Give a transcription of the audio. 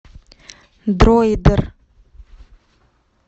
дройдер